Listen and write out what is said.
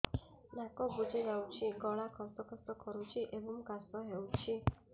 ନାକ ବୁଜି ଯାଉଛି ଗଳା ଖସ ଖସ କରୁଛି ଏବଂ କାଶ ହେଉଛି